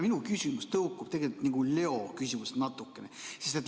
Minu küsimus tõukub natukene Leo küsimusest.